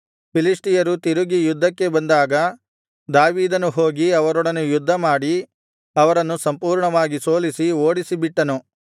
ಫಿಲಿಷ್ಟಿಯರು ತಿರುಗಿ ಯುದ್ಧಕ್ಕೆ ಬಂದಾಗ ದಾವೀದನು ಹೋಗಿ ಅವರೊಡನೆ ಯುದ್ಧಮಾಡಿ ಅವರನ್ನು ಸಂಪೂರ್ಣವಾಗಿ ಸೋಲಿಸಿ ಓಡಿಸಿಬಿಟ್ಟನು